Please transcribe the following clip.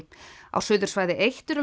á Suðursvæði eins eru